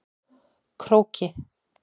Króki